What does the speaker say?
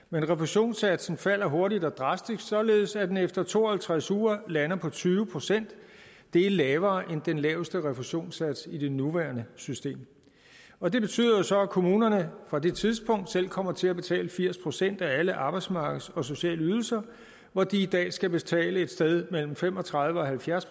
men refusionssatsen falder hurtigt og drastisk således at den efter to og halvtreds uger lander på tyve procent det er lavere end den laveste refusionssats i det nuværende system og det betyder jo så at kommunerne fra det tidspunkt selv kommer til at betale firs procent af alle arbejdsmarkeds og sociale ydelser hvor de i dag skal betale et sted mellem fem og tredive og halvfjerds